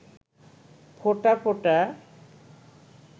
ফোঁটা ফোঁটা